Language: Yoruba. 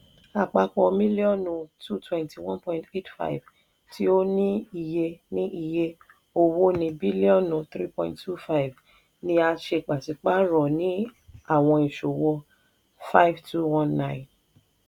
àpapọ̀ mílíọ̀nù two hundred twenty one point eight five tí ó ní iye ní iye owó ní bílíọ́nù n three point two five ni a ṣe pàṣípààrọ̀ ní àwọn ìṣòwò five thousand two hundred nineteen.